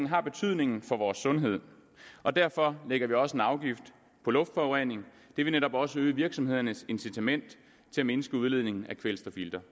har betydning for vores sundhed derfor lægger vi også en afgift på luftforurening og det vil netop også øge virksomhedernes incitament til at mindske udledningen af kvælstofilter